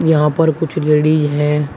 यहां पर कुछ लेडिज है।